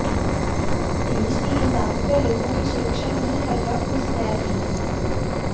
police भी इन ताकतवर लोगों की सुरक्षा में ही हर वक्त मुस्तैद रही